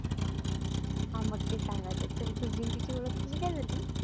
हा मग तेच सांगायचंय, चल तुझी अन तिची ओळख कशी काय झाली?